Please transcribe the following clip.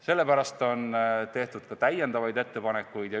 Sellepärast on tehtud ka täiendavaid ettepanekuid.